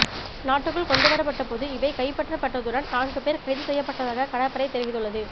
நாட்டுக்குள் கொண்டுவரப்பட்டபோது இவை கைப்பற்றப்பட்டதுடன் நான்கு பேர் கைதுசெய்யபட்டதாக கடற்படை தெரிவித்துள்ளது